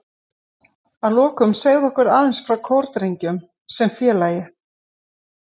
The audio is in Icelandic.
Að lokum segðu okkur aðeins frá Kórdrengjum sem félagi?